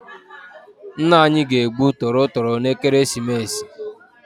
Ńnà anyị ga-egbu tọrọ toro n' ekeresimesi.